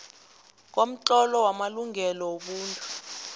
komtlolo wamalungelo wobuntu